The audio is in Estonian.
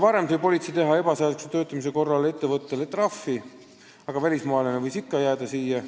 Varem sai politsei ebaseadusliku töötamise korral ettevõttele trahvi teha, aga välismaalane võis ikka Eestisse jääda.